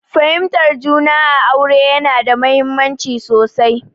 Fahimtar juna a aure yana da mahimmanci sosai.